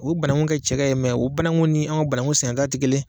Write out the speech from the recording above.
U bananku kɛ cɛkɛ ye o bananku ni anw ka bananku sɛnɛta tɛ kelen ye